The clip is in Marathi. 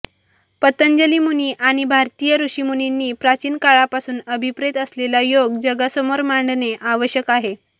पतंजली मुनी आणि भारतीय ऋषीमुनींनी प्राचीन काळापासून अभिप्रेत असलेला योग जगासमोर मांडणे आवश्यक आहे